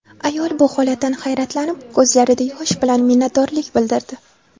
Ayol bu holatdan hayratlanib ko‘zlarida yosh bilan minnatdorlik bildirdi.